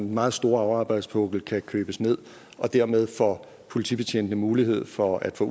meget store overarbejdspukkel kan købes ned og dermed får politibetjentene mulighed for at få